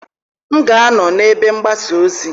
M ga-anọ na ebe mgbasa ozi